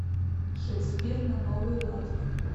шекспир на новый лад